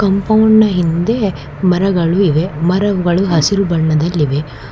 ಕಂಪೌಂಡ್ನ ಹಿಂದೆ ಮರಗಳಿವೆ ಮರಗಳು ಹಸಿರು ಬಣ್ಣದಲ್ಲಿವೆ.